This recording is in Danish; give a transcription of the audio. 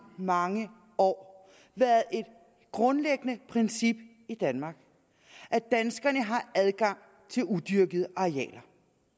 mange år været et grundlæggende princip i danmark at danskerne har adgang til udyrkede arealer